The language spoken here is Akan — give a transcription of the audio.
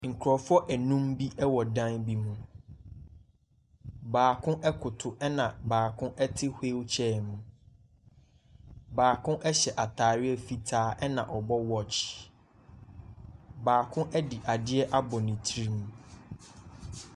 Nkurofoɔ anum bi ɛwɔ dan bi mu. Baako akotow ɛna baako ɛte hwilkyɛɛ mu. Baako ɛhyɛ ataareɛ fitaa, ɛna ɔbɔ wɔkye. Baako ɛde adeɛ abɔ ne tiri mu.